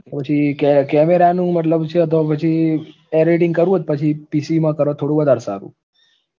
તો પછી કે camera નું મતલબ છે તો પછી editing કરો તો પછી PC માં કરો તો થોડું વધારે સારું